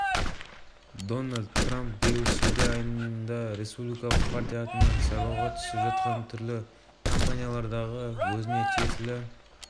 бұл рақымшылық қоғам қауіпсіздігіне қылмыстық ахуалға кері әсерін тигізбейді себебі ол қауіп төндірмейтіндерді әлеуметтік әлсіздерді ғана жазадан босатады асанов